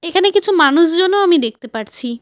এখানে কিছু মানুষজনও আমি দেখতে পারছি।